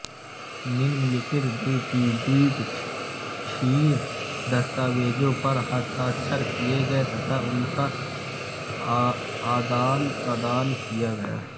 निम्नलिखित द्विपक्षीय दस्तावेजों पर हस्ताक्षर किए गए तथा उनका आदानप्रदान किया गया